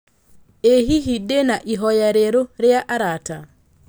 ĩ hihi ndĩ na ihoya rĩeru rĩa arata